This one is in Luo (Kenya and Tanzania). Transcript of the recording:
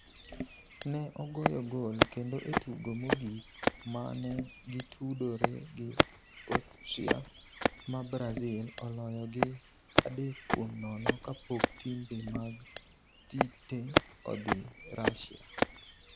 Ne ogoyo gol kendo e tugo mogik ma ne gitudore gi Austria ma Brazil oloyo gi 3-0 kapok timbe mag Tite odhi Russia.